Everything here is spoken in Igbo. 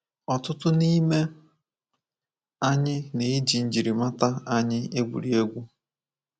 Ọtụtụ n’ime anyị na-eji njirimata anyị egwuri egwu.